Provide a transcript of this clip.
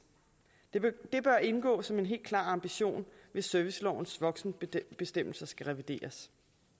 det bør indgå som en helt klar ambition hvis servicelovens voksenbestemmelser skal revideres